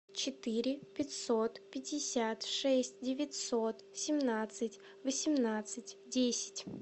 четыре пятьсот пятьдесят шесть девятьсот семнадцать восемнадцать десять